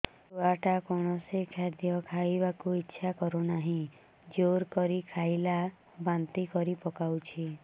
ଛୁଆ ଟା କୌଣସି ଖଦୀୟ ଖାଇବାକୁ ଈଛା କରୁନାହିଁ ଜୋର କରି ଖାଇଲା ବାନ୍ତି କରି ପକଉଛି